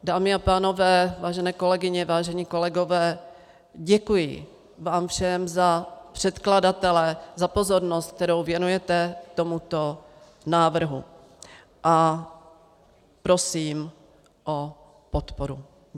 Dámy a pánové, vážené kolegyně, vážení kolegové, děkuji vám všem za předkladatele za pozornost, kterou věnujete tomuto návrhu, a prosím o podporu.